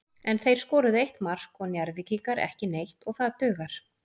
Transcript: En þeir skoruðu eitt mark og Njarðvíkingar ekki neitt og það dugar.